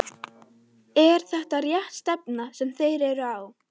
Er þetta rétt stefna sem þeir eru á?